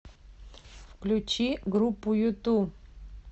включи группу юту